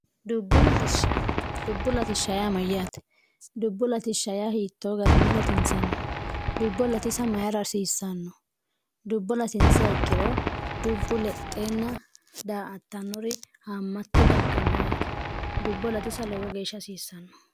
dubbu latishsh amayyaate dubbu latishsh hiittoo garinni latinsanni dubbo latisa mayiraarsiissanno dubbo latinsa hikkiro dubbu lexeenna daa attannori hammatte dagganno yaate dubbo latisa lowo geeshsha hasiissanno